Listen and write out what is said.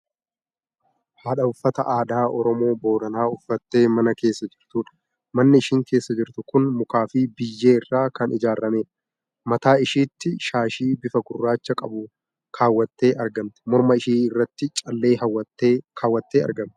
Haadha uffata aadaa Oromoo booranaa uffatte mana keessa jirtudha. Manni isheen keessa jirtu kun mukaa fi biyyee irraa kan ijaarameedha. Mataa isheetti shaashii bifa gurraacha qabu kaawwattee argamti. Morma ishee irratti callee kaawwattee jirti.